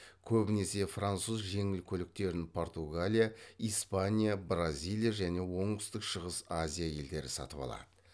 көбінесе француз жеңіл көліктерін португалия испания бразилия және оңтүстік шығыс азия елдері сатып алады